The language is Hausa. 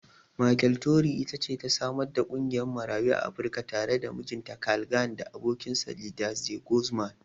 Michele Torrey it ce ta samar da ƙungiyar Marayun Afrika tare da mijinta Carl Gann da abokinsa Liza De Guzman.